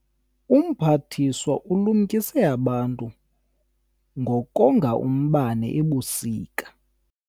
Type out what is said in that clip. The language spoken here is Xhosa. Umphathiswa ulumkise abantu ngokonga umbane ebusika.